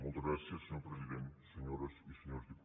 moltes gràcies senyor president senyores i senyors diputats